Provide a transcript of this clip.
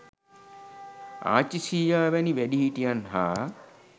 ආච්චී සීයා වැනි වැඩිහිටියන් හා